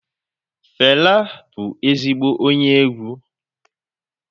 Fẹla bụ ezigbo onye egwu.